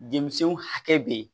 Denmisɛnw hakɛ be yen